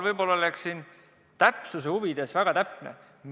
Ma püüan siinkohal asja huvides väga täpne olla.